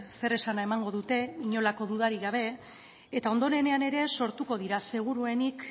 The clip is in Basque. zeresana emango dute inolako dudarik gabe eta ondorenean ere sortuko dira seguruenik